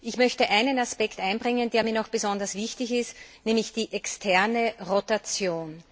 Ich möchte einen Aspekt einbringen, der mir besonders wichtig ist, nämlich die externe Rotation.